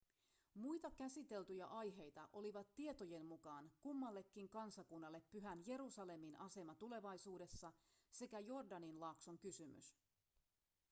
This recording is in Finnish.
muita käsiteltyjä aiheita olivat tietojen mukaan kummallekin kansakunnalle pyhän jerusalemin asema tulevaisuudessa sekä jordanin laakson kysymys